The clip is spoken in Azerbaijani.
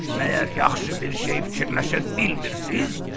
Məyər yaxşı bir şey fikirləşə bilmirsiz?